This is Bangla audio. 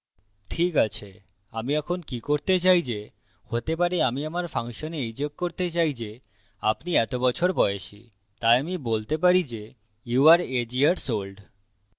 ঠিক age আমি এখন কি করতে চাই যে হতে পারে আমি আমার ফাংশনে এই যোগ করতে চাই যে আপনি এত বছর বয়সী তাই আমি বলতে পারি যে you are age years old